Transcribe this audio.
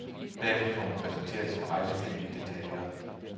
Derefter får man præsenteret sin rejseplan i detaljer.